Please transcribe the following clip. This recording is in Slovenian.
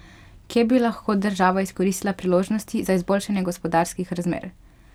Kje bi lahko država izkoristila priložnosti za izboljšanje gospodarskih razmer?